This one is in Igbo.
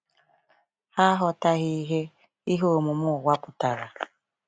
Ha aghọtaghị ihe ihe omume ụwa pụtara.